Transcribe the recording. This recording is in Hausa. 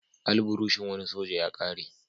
Alburushin wani soja ya ƙare.